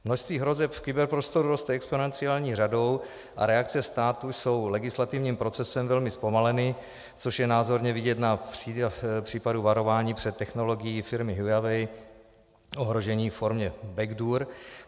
Množství hrozeb v kyberprostoru roste exponenciální řadou a reakce státu jsou legislativním procesem velmi zpomaleny, což je názorně vidět na případu varování před technologií firmy Huawei, ohrožení ve formě backdoor.